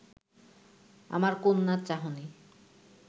আমার কন্যার চাহনি